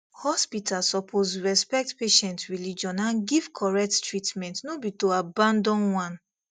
hospital suppose respect patient religion and give correct treatment no be to abandon one